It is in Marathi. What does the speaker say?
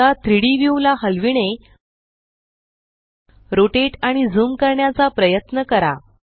आता 3डी व्यू ला हलविणे रोटेट आणि ज़ूम करण्याचा प्रयत्न करा